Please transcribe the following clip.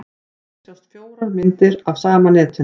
Hér sjást fjórar myndir af sama netinu.